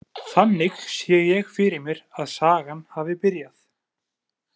Þannig sé ég fyrir mér að sagan hafi byrjað.